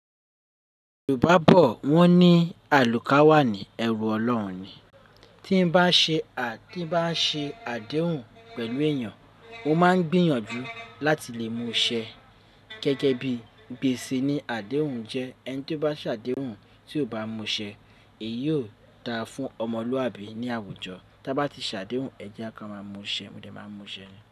Yorùbá bọ̀ wọ́n ní àlùká wà ní ẹrù Ọlọ́run ni. Tí n bá ṣe à, tí n bá ṣe àdéhùn pẹ̀lú èèyàn, mo máa ń gbìyànjú láti lè múṣẹ gẹ́gẹ́ bí gbèsè ni àdéhùn jẹ́. Ẹni tí ó bá ṣàdéhùn tí ò bá múṣẹ èyí o dáa fún ọmọlúàbí ní àwùjọ. Tí a bá ti ṣàdéhùn, ẹ jẹ́ ka máa múṣẹ, mo dẹ máa n múṣẹ ni.